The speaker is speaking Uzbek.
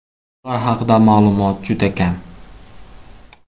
Ular haqida ma’lumot juda kam.